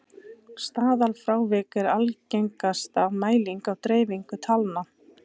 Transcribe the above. staðalfrávik er algengasta mæling á dreifingu talna